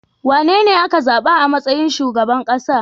Wanene ka zaba a matsayin shugaban kasa?